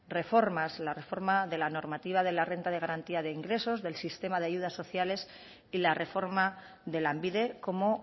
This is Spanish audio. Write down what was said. reformas la reforma de la normativa de la renta de garantía de ingresos del sistema de ayudas sociales y la reforma de lanbide como